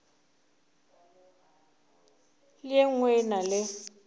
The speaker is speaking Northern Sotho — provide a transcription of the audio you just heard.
le e nngwe e na